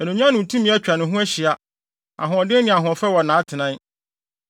Anuonyam ne tumi atwa ne ho ahyia, ahoɔden ne ahoɔfɛ wɔ nʼatenae.